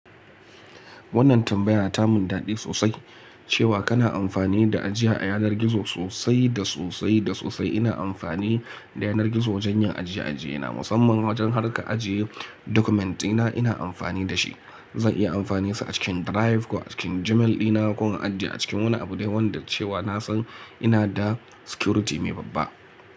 Wannan tambaya ta mun daɗi sosai cewa kana amfani da ajiya a yanar gizo sosai da sosai da sosai. Ina amfani da yanar gizo wajen yin ajiye-ajiyena, musamman wajen harka ajiye dokument ɗina ina amfani da shi. Zan iya amfaninsa a cikin Drive ko a cikin Gmail dina ko a ajiye a cikin wani abu dai wanda cewa na san ina da security mai babba.